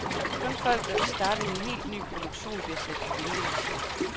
Kun folk, der vil starte en helt ny produktion, bliver sat på ventelisten.